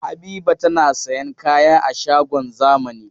Habiba tana sayan kaya a shagon zamani.